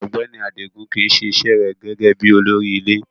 Ọgbẹni Adigun kii se ise re gege bi olori ile